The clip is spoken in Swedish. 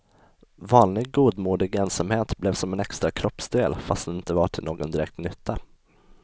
Vanlig godmodig ensamhet blev som en extra kroppsdel, fastän den inte var till någon direkt nytta.